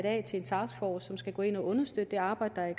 af til en taskforce som skal gå ind og understøtte det arbejde der er